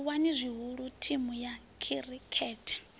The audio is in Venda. livhuwa zwihulu thimu ya khirikhethe